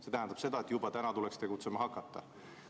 See tähendab seda, et juba täna tuleks tegutsema hakata.